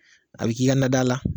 A b'i ka nadaa la